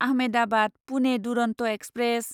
Ahmedabad Pune Duronto express